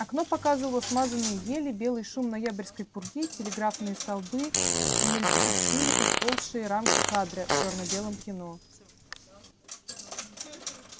окно показывало смазанные ели белый шум ноябрьской пурги телеграфные столбы мельтешили как поползшие рамки кадра в чёрно-белом кино